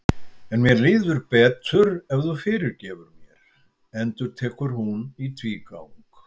En mér líður betur ef þú fyrirgefur mér, endurtekur hún í tvígang.